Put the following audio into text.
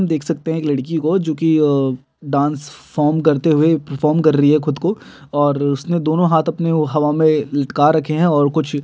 देख सकते है एक लड़की को जो की अ- डांस फॉर्म करते हुए परफॉर्म कर रहि है खुद को और उसने दोनों हाथ अपने हवा में लटका रखे है और कुछ--